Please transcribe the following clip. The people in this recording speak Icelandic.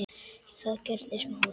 Það gerði Smári.